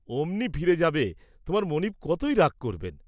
অমনি ফিরে যাবে, তোমার মনীব কতই রাগ করবেন।